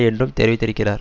என்றும் தெரிவித்திருக்கிறார்